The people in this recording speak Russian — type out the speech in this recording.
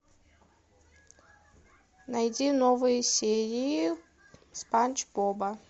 найди новые серии спанч боба